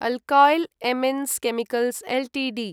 alkyl amines chemicals Ltd